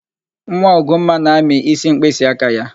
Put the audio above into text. Nwa Ugomma na-amị ísí mkpịsịaka ya.